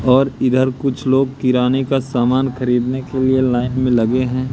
और इधर कुछ लोग किराने का सामान खरीदने के लिए लाइन में लगे हैं।